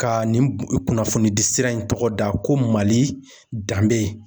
Ka nin kun kunnafonidi sira in tɔgɔ da ko Mali danbe